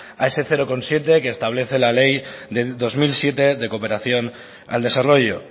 a ese cero coma siete que establece la ley del dos mil siete de cooperación al desarrollo